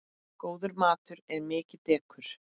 Góður matur er mikið dekur.